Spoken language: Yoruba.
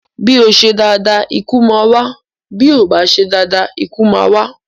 Bí o ṣe dáadáa ikú máa wà, bí o ò bá ṣe dáadáa ikú máa wá.